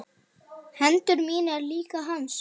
Hendur mínar líka hans.